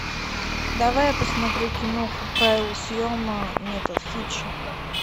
давай я посмотрю киноху правила съема метод хитча